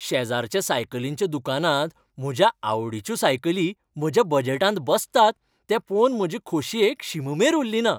शेजारच्या सायकलींच्या दुकानांत म्हज्या आवडीच्यो सायकली म्हज्या बजेटांत बसतात तें पळोवन म्हजे खोशयेक शीममेर उरलीना.